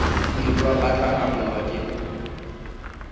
elwa ba tla namolwa ke